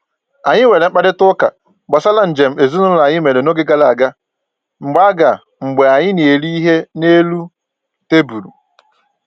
Anyị nwere mkparịta ụka gbasara njem ezinụlọ anyị mere n'oge gara aga mgbe aga mgbe anyị na-eri ihe n'elu tebụlụ